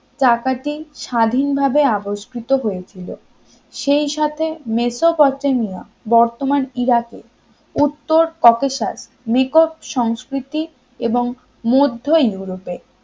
চাকাটি স্বাধীনভাবে আবিষ্কৃত হয়েছিল সেই সাথে মেসোপটেমিয়া বর্তমান ইরাকের উত্তর . নিকট সংস্কৃতি এবং মধ্য ইউরোপে